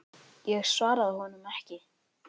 Ég svaraði honum ekki.